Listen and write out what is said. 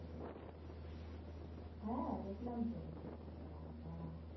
হ্যাঁ দেখলাম তো বাবা।